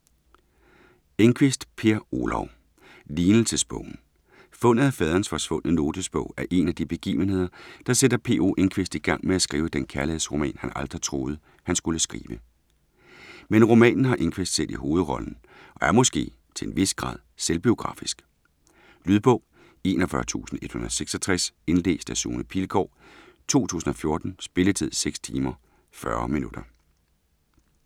Enquist, Per Olov: Lignelsesbogen Fundet af faderens forsvundne notesbog er en af de begivenheder, der sætter P. O. Enquist i gang med at skrive den kærlighedsroman, han aldrig troede, han skulle skrive. Men romanen har Enquist selv i hovedrollen og er måske til en vis grad selvbiografisk? Lydbog 41166 Indlæst af Sune Pilgaard, 2014. Spilletid: 6 timer, 40 minutter.